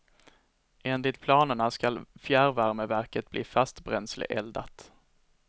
Enligt planerna skall fjärrvärmeverket bli fastbränsleeldat.